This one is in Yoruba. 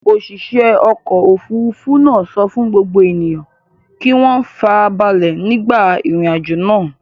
Òṣìṣẹ́ ọkọ̀-òfurufú náà sọ fún gbogbo ènìyàn kí wọ́n ìfarabalẹ̀ nígbà ìrìnàjò náà.